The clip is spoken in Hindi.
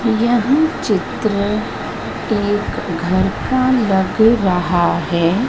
यह चित्र एक घर का लग रहा है।